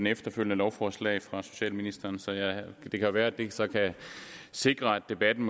efterfølgende lovforslag fra socialministeren så det kan være det så kan sikre at debatten